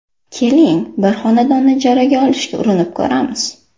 Keling, bir xonadonni ijaraga olishga urinib ko‘ramiz.